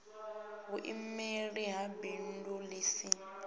vhuimeli ha bindu ḽi si